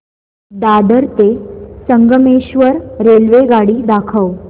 दादर ते संगमेश्वर रेल्वेगाडी दाखव